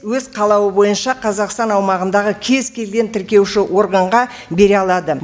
өз қалауы бойынша қазақстан аумағындағы кез келген тіркеуші органға бере алады